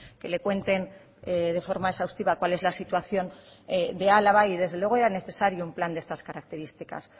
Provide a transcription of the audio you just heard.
que le cuenten de forma exhaustiva cuál es la situación de álava y desde luego era necesario un plan de estas características